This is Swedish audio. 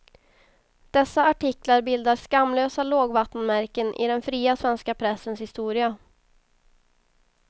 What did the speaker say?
Dessa artiklar bildar skamlösa lågvattenmärken i den fria svenska pressens historia.